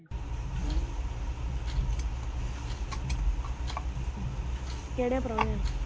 ਕਿਹੜੇ ਪ੍ਰਾਹੁਣੇ ਆਏ?